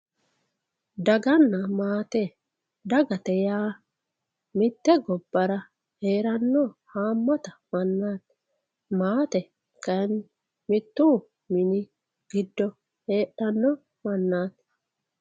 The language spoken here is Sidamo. Daganna maate, dagate yaa mite gobbara heerano hamata mannati maate kayinni mitu mini giddo heedhano mannati.